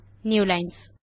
newlines